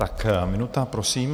Tak minuta prosím.